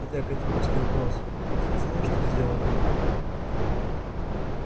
это академический вопрос ведь я знаю что сделали вы